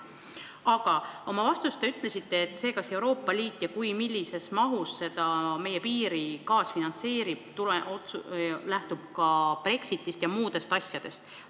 Aga oma vastuses te ütlesite, et see, kas Euroopa Liit ja kui, siis millises mahus meie piiri kaasfinantseerib, lähtub ka Brexitist ja muudest sellistest asjadest.